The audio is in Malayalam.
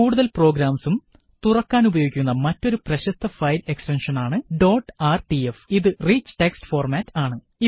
കൂടുതല് പ്രോഗ്രാംസും തുറക്കുവാന് ഉപയോഗിക്കുന്ന മറ്റൊരു പ്രശസ്ത ഫയല് എക്സ്റ്റെന്ഷന് ആണ് ഡോട്ട് ആർടിഎഫ് ഇത് റിച്ച് ടെക്സ്റ്റ് ഫോര്മാറ്റ് ആണ്